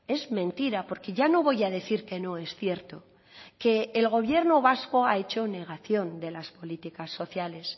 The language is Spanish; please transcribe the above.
es mentira porque ya no voy a decir que no es cierto que el gobierno vasco ha hecho negación de las políticas sociales